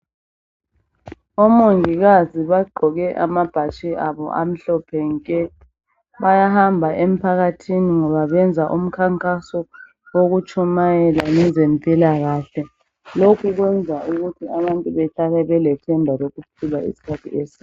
Omongikazi bagqoke amabhatshi abo amhlophe nke. Bayahamba emphakathini ngoba benza umkhankaso okutshumayela ngezempilakahle. Lokhu kwenza ukuthi abantu behlale belethemba lokuphila isikhathi eside.